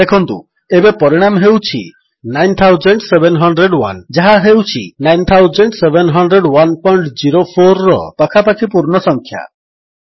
ଦେଖନ୍ତୁ ଏବେ ପରିଣାମ ହେଉଛି 9701 ଯାହା ହେଉଛି 970104ର ପାଖାପାଖି ପୂର୍ଣ୍ଣ ସଂଖ୍ୟା